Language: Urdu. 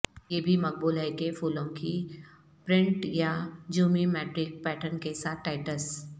یہ بھی مقبول ہے کہ پھولوں کی پرنٹ یا جیومی میٹرک پیٹرن کے ساتھ ٹائٹس